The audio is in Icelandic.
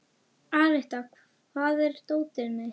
Aletta, hvar er dótið mitt?